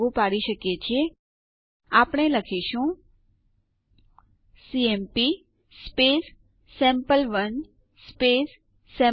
એક યુઝર થી અન્ય યુઝર ઉપર ફેરબદલી કરવા માટે સુ આદેશ